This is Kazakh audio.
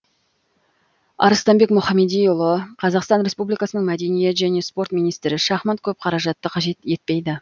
арыстанбек мұхамедиұлы қр мәдениет және спорт министрі шахмат көп қаражатты қажет етпейді